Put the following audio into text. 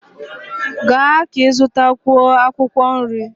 Gaa ka ị zụtakwuo akwụkwọ nri!